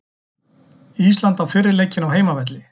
Ísland á fyrri leikinn á heimavelli